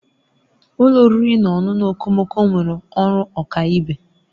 Ụlọ oriri na ọṅụṅụ okomoko nwere ọrụ ọkaibe.